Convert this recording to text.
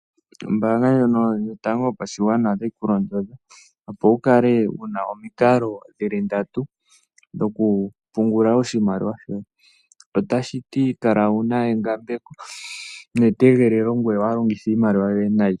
Ombaanga ndjono yotango yopashigwana otayi ku londodha, opo wukale wuna omukalo dhili ndatu dho kupungula oshimaliwa shoye, otashiti kala wuna engambeko netegelelo, ngoye waalongithe iimaliwa yoye nayi.